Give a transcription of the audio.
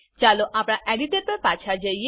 ચાલો આપણા એડિટર પર પાછા જઈએ